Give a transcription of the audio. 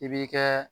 I b'i kɛ